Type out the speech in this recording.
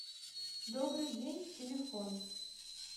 добрый день телефон